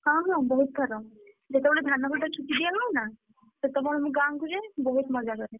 ହଁ ମୁଁ ବହୁତ ଥର। ଯେତବେଳେ ଧାନ କଟା ଛୁଟି ଦିଆ ହୁଏନା, ସେତବେଳେ ମୁଁ ଗାଁ କୁ ଯାଏ ବହୁତ ମଜା କରେ।